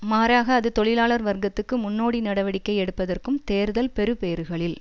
மாறாக அது தொழிலாளர் வர்க்கத்துக்கு முன்னோடி நடவடிக்கை எடுப்பதற்கும் தேர்தல் பெறுபேறுகளில்